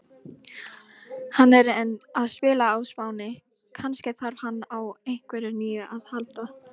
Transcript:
Hann er enn að spila á Spáni, kannski þarf hann á einhverju nýju að halda?